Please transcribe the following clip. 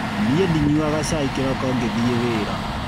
Niĩ ndinyuaga cai kĩroko ngĩthiĩ wĩra.